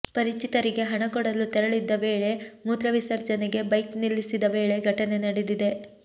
ಪರಿಚಿತರಿಗೆ ಹಣ ಕೊಡಲು ತೆರಳಿದ್ದ ವೇಳೆ ಮೂತ್ರ ವಿಸರ್ಜನೆಗೆ ಬೈಕ್ ನಿಲ್ಲಿಸಿದ ವೇಳೆ ಘಟನೆ ನಡೆದಿದೆ